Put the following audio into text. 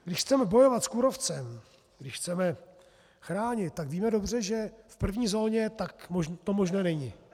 Když chceme bojovat s kůrovcem, když chceme chránit, tak víme dobře, že v první zóně to možné není.